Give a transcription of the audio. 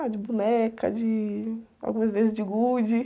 Ah, de boneca, de... Algumas vezes de gude.